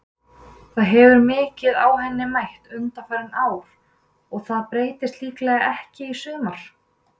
Það hefur mikið á henni mætt undanfarin ár og það breytist líklega ekki í sumar.